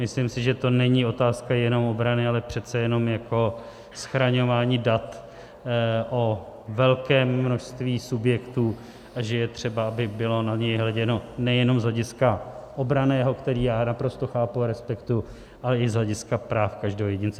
Myslím si, že to není otázka jenom obrany, ale přece jenom jako schraňování dat o velkém množství subjektů a že je třeba, aby bylo na něj hleděno nejenom z hlediska obranného, které já naprosto chápu a respektuji, ale i z hlediska práv každého jedince.